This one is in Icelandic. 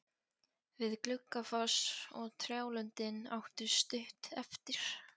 Við Gluggafoss og trjálundinn áttu stutt eftir.